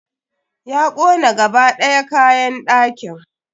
Ya kona gaba ɗaya kayan ɗakin.